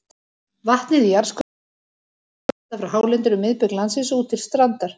Vatnið í jarðskorpunni leitar hægt undan halla frá hálendinu um miðbik landsins út til strandar.